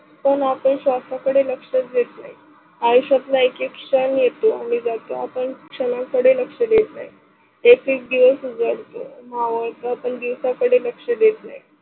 पण आपल्या श्वासा कडे लक्श देणे आयुष्यातला एक एक क्षण येतो आणि जातो आपन क्षणाकडे कडे लक्ष देत नाही. एक एक दिवस उजळतो, मावळतो जर आपण दिवस लक्ष देत नाही.